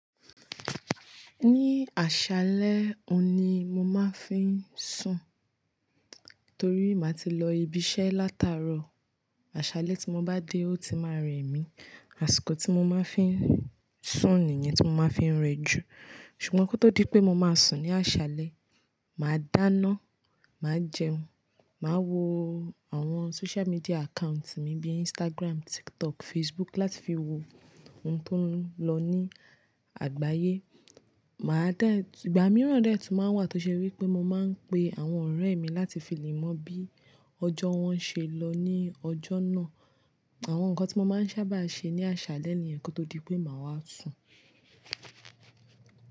Ní àṣálẹ́ òun ni mo máa ń fi ń sùn, torí má tí lọ ibi iṣẹ́ látàárọ̀, àṣálẹ́ tí mo bá dé ó ti máa ń rẹ mí. Àsìkò tí mo máa ń fi ń sùn nìyẹn tí mo máa ń fi ń rẹ jù. Ṣùgbọ́n kó tó di pé mo máa sùn ní àṣálẹ́, màá dáná, màá jẹun, màá wo àwọn social media account mi bíi Instagram, TikTok, Facebook láti fi wo ohun tó ń lọ ní àgbáyé. Màá dẹ́, ìgbà mìíràn dẹ́ tí máa ń wà tó ṣe wípé mo máa ń pe àwọn ọ̀rẹ́ mi láti fi lẹ̀ mọ bí ọjọ́ wọn ṣe lọ ní ọjọ́ náà. Àwọn nǹkan tí mo máa ń sábà ṣe ní àṣálẹ́ nìyẹn kó tó di pé màá wá sùn.